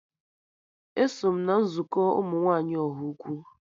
Eso m na nzukọ ụmụ nwaanyị Ọhaukwu